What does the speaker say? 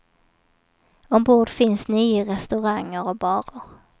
Ombord finns nio restauranger och barer.